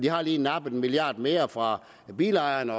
har lige nappet en milliard kroner mere fra bilejerne